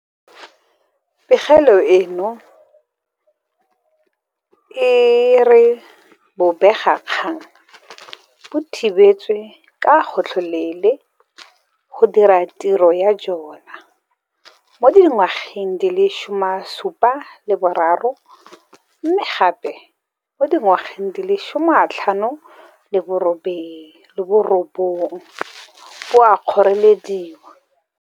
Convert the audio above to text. Pegelo eno e re bobega kgang bo thibetswe ka gotlhelele go dira tiro ya jona mo dinageng di le 73 mme gape mo dinageng di le 59 bo a kgorelediwa.